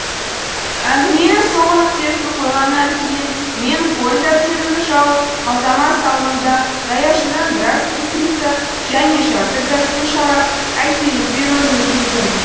әңгіменің соңғы нүктесін қойғаннан кейін мен қойын дәптерімді жауып қалтама салдым да даяшыдан біраз устрица және жарты графин шарап әкеліп беруін өтіндім